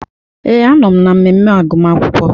Ee, anọm na mmemme agụmakwụkwọ.